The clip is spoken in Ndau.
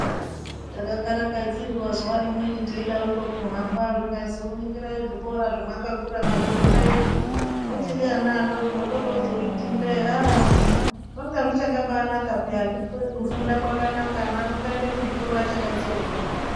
Takakarakadzirwa zuwa rimweni teidaroko kuhamba zvikaziwo ningirai zvikora zvamakakura mweifunda izvo muchiri ana adoko. Toroozozviti ndee aa zvangazvichakabakanaka peya. Kufunda kwakanaka, ana ngaaende kuzvikora achakatsonga.